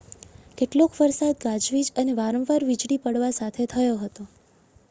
કેટલોક વરસાદ ગાજવીજ અને વારંવાર વીજળી પડવા સાથે થયો હતો